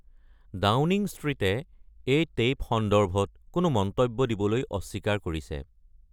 Downing ষ্ট্ৰীটে এই tape সন্দৰ্ভত কোনো মন্তব্য দিবলৈ অস্বীকাৰ কৰিছে।